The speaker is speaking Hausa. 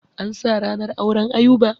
An sa ranar auren Ayuba.